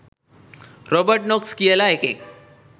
Robert Knox කියල එකෙක්